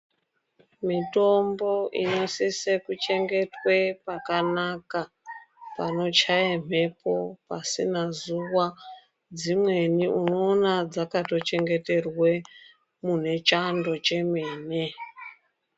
Mitombo inosise kuchengetwa pakanaka ,panochaya mhepo ,pasina zuva . Dzimweni unoona dzakatochengeterwe mune Chando chemene.